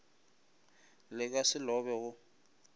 le ka se lobe go